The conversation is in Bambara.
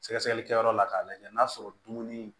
Sɛgɛsɛgɛli kɛyɔrɔ la k'a lajɛ n'a sɔrɔ dumuni